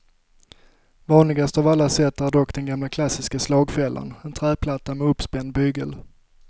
Vanligast av alla sätt är dock den gamla klassiska slagfällan, en träplatta med uppspänd bygel.